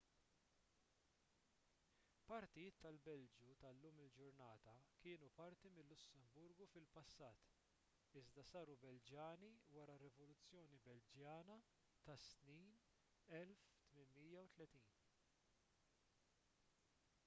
partijiet tal-belġju tal-lum il-ġurnata kienu parti mil-lussemburgu fil-passat iżda saru belġjani wara r-rivoluzzjoni belġjana tas-snin 1830